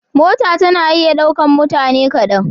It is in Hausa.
Mota tana iya ɗaukan mutane kaɗan.